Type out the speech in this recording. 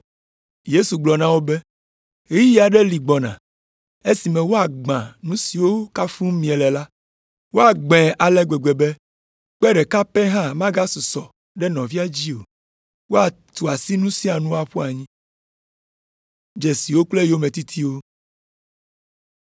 Yesu gblɔ na wo be, “Ɣeyiɣi aɖe li gbɔna esime woagbã nu siwo kafum miele la. Woagbãe ale gbegbe be kpe ɖeka pɛ hã magasusɔ ɖe nɔvia dzi o. Woatu asi nu sia nu aƒu anyi.”